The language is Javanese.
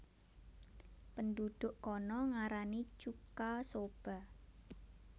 Penduduk kana ngarani chuka soba